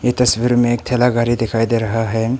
तस्वीर में एक ठेला गाड़ी दिखाई दे रहा है।